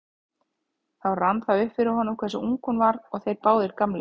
Þá rann það upp fyrir honum hversu ung hún var og þeir báðir gamlir.